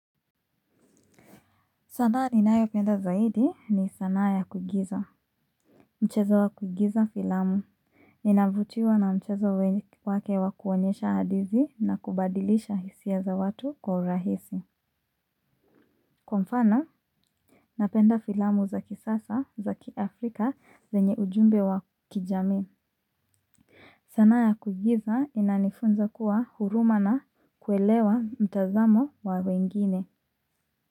Sanaa ninayopenda zaidi ni sanaa ya kuigiza. Mchezo wa kuigiza filamu. Ninavutiwa na mchezo wake wa kuonyesha hadithi na kubadilisha hisia za watu kwa urahisi. Kwa mfano, napenda filamu za kisasa za kiafrika zenye ujumbe wa kijami. Sanaa ya kuigiza inanifunza kuwa huruma na kuelewa mtazamo wa wengine.